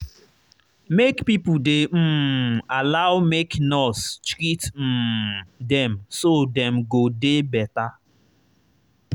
make pipo dey um allow make nurse treat um dem so dem go dey better.